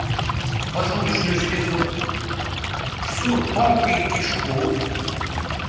поджелудочную железу всю тонкую кишку